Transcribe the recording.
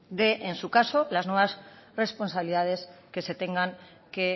de en su caso las nuevas responsabilidades que se tengan que